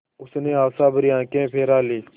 उसने आशाभरी आँखें फिरा लीं